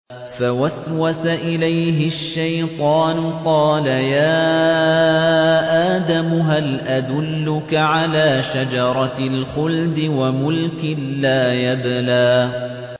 فَوَسْوَسَ إِلَيْهِ الشَّيْطَانُ قَالَ يَا آدَمُ هَلْ أَدُلُّكَ عَلَىٰ شَجَرَةِ الْخُلْدِ وَمُلْكٍ لَّا يَبْلَىٰ